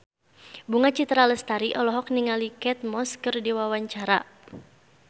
Bunga Citra Lestari olohok ningali Kate Moss keur diwawancara